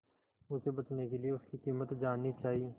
उसे बचने के लिए उसकी कीमत जाननी चाही